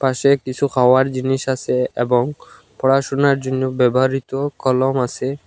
সে কিসু খাওয়ার জিনিস আসে এবং পড়াশুনার জন্য ব্যবহৃত কলম আসে।